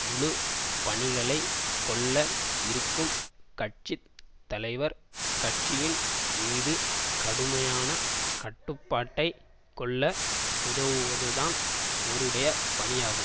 முழு பணிகளை கொள்ள இருக்கும் கட்சி தலைவர் கட்சியின் மீது கடுமையான கட்டுப்பாட்டை கொள்ள உதவுவதுதான் அவருடைய பணியாகும்